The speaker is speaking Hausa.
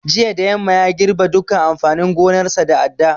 Jiya da yamma ya girɓe dukkan amfanin gonarsa da adda